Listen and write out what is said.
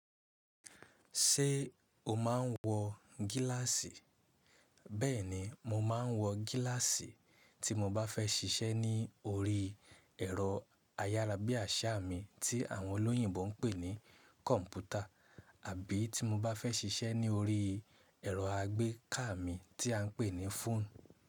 Ṣé o máa ń wọ gíláàsì? Bẹ́ẹ̀ni mo máa ń wọ gíláàsì tí mo bá fẹ́ ṣiṣẹ́ ní orí ẹ̀rọ ayárabíàṣá mi tí àwọn olóyìnbo ń pè ní kọ̀ǹpútà àbí tí mo bá fẹ́ ṣiṣẹ́ ní orí ẹ̀rọ àgbékà mi tí a ń pè ní fóònù.